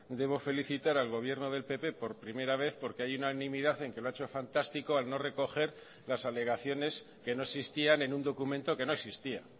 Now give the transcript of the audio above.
debo felicitar al gobierno del pp por primera vez porque hay unanimidad en que lo ha hecho fantástico al no recoger las alegaciones que no existían en un documento que no existía